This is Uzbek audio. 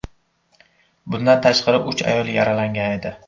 Bundan tashqari, uch ayol yaralangan edi.